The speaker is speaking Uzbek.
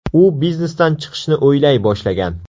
U biznesdan chiqishni o‘ylay boshlagan.